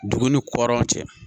Dugu ni kɔdaw cɛ